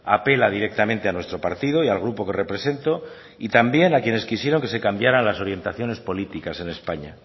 apela directamente a nuestro partido y al grupo que represento y también a quienes quisieron que se cambiaran las orientaciones políticas en españa